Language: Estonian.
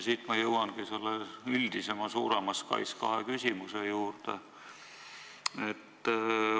Siit ma jõuangi selle üldisema ja suurema SKAIS2 küsimuse juurde.